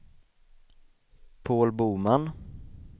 Paul Boman